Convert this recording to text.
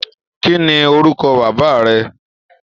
Kí ni orúkọ bàbá rẹ?